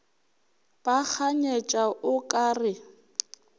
ba kganyetša o ka re